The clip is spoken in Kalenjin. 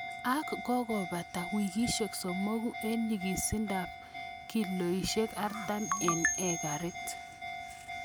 Ak kokabata wikisiek somoku en nyikisindab kiloisiek artam en ekarit.